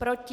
Proti?